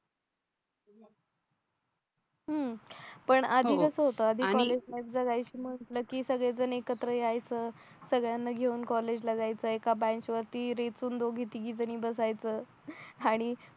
अं पण आधी कसं होतं आधी कसं कॉलेज लाईफ जगायचं म्हटले की सगळेजण एकत्र यायचं सगळयांना घेऊन कॉलेजला जायचं का बेंच वरती दोघी तिघीजणी बसायचं आणि